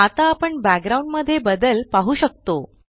आता आपण बॅकग्राउंड मध्ये बदल पाहु शकतो